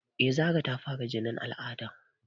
Eh Zara ta fara jinin al'ada